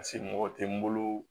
mɔgɔ tɛ n bolo